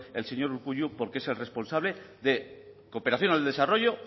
el señor urkullu porque es el responsable de cooperación al desarrollo